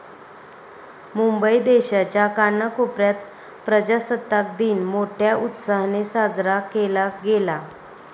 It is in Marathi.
मुंबई देशाच्या कानाकोपऱ्यात प्रजासत्ताक दिन मोठ्या उत्साहाने साजरा केला गेला.